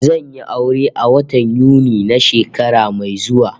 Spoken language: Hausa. Zan yi aure a watan Yuni na shekara mai zuwa